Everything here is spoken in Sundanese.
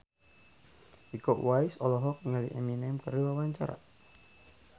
Iko Uwais olohok ningali Eminem keur diwawancara